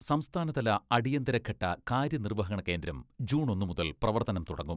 സംസ്ഥാനതല അടിയന്തര ഘട്ട കാര്യനിർവഹണ കേന്ദ്രം ജൂൺ ഒന്ന് മുതൽ പ്രവർത്തനം തുടങ്ങും.